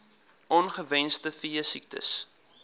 on ongewenste veesiektes